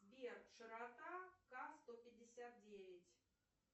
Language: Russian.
сбер широта ка сто пятьдесят девять